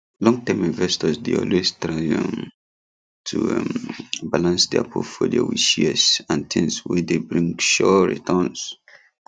longterm investors dey always try um to um balance their portfolio with shares and things wey dey bring sure returns